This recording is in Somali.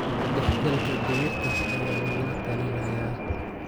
Dhexgalka digirta ayaa lagula talinayaa.